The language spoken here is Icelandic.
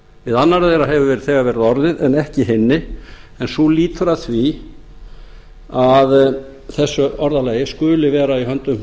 við annarri þeirra hefur þegar verið orðið en ekki hinni en sú lýtur að því að þessu orðalagi skuli vera í höndum